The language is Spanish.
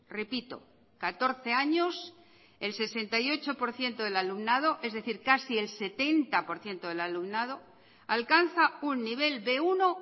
repito catorce años el sesenta y ocho por ciento del alumnado es decir casi el setenta por ciento del alumnado alcanza un nivel be uno